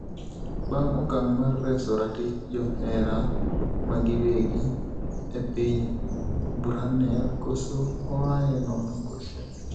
Be okang' mar reso ratich johera magiwegi epiny Brunei koso oae nono koso?